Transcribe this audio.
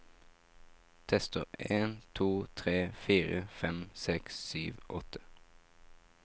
Tester en to tre fire fem seks sju åtte